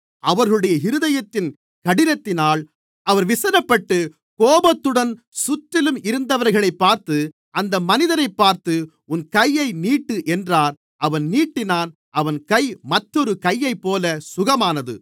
அவர்களுடைய இருதயத்தின் கடினத்தினால் அவர் விசனப்பட்டு கோபத்துடன் சுற்றிலும் இருந்தவர்களைப் பார்த்து அந்த மனிதனைப் பார்த்து உன் கையை நீட்டு என்றார் அவன் நீட்டினான் அவன் கை மற்றொரு கையைப்போல சுகமானது